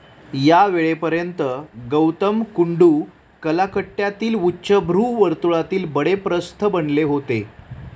या वेळेपर्यंत गौतम कुंडू कलाकट्ट्यातील उच्चभ्रू वर्तुळातील बडे प्रस्थ बनले होते.